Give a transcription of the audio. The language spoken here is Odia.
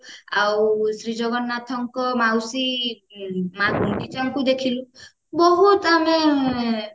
ଆଉ ଶ୍ରୀ ଜଗନ୍ନାଥଙ୍କ ମାଉସୀ ମା ଗୁଣ୍ଡିଚାଙ୍କୁ ଦେଖିଲୁ ବହୁତ ଆମେ